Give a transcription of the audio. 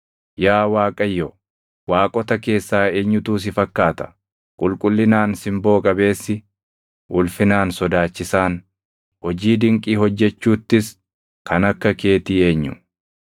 Yaa Waaqayyo, waaqota keessaa eenyutu si fakkaata? Qulqullinaan simboo qabeessi, ulfinaan sodaachisaan, hojii dinqii hojjechuuttis kan akka keetii eenyu?